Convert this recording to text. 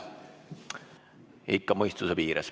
Ikka mõistuse piires.